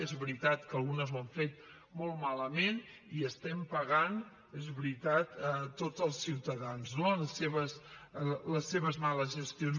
és veritat que algunes ho han fet molt malament i les estem pagant és veritat tots els ciutadans no les seves males gestions